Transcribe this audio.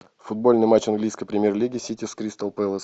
футбольный матч английской премьер лиги сити с кристал пэлас